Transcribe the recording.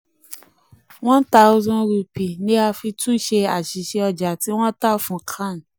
one thousand rupee ni a fi túnṣe àṣìṣe ọjà tí wọ́n tà fún khan.